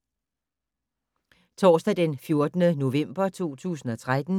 Torsdag d. 14. november 2013